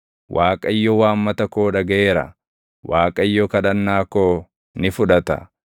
Waaqayyo waammata koo dhagaʼeera; Waaqayyo kadhannaa koo ni fudhata.